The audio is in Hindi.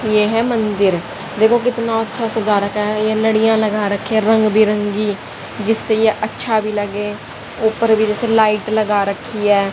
ये है मंदिर देखो कितना अच्छा सजा रखा है ये लाडिया लगा रखी है रंग बिरंगी जिससे ये अच्छा भी लगे ऊपर भी ये लाइट लगा रखी है।